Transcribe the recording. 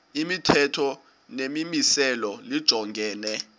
imithetho nemimiselo lijongene